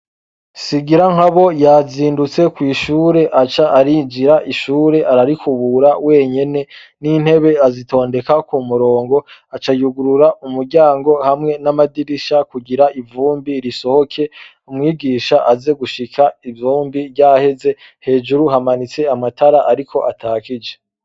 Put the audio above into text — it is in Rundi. Singirankabo yazindutse kw'ishure aca arinjira ishure ararikubura wenyene, n'intebe azitondeka ku murongo, aca yugurura umuryango hamwe n'amadirisha kugira ivumbi risohoke, umwigisha aze gushika ivumbi ryaheze, hejuru hamanitse amatara ariko atakije.